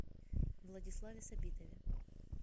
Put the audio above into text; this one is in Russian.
владиславе сабитове